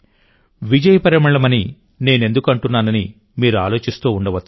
విజయ పరిమళమని నేనెందుకు అంటున్నానని మీరు ఆలోచిస్తుండవచ్చు